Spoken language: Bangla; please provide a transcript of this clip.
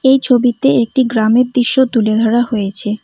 এই ছবিতে একটি গ্রামের দিশ্য তুলে ধরা হয়েছে।